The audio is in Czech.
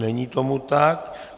Není tomu tak.